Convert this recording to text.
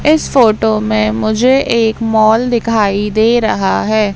इस फोटो में मुझे एक मॉल दिखाई दे रहा हैं।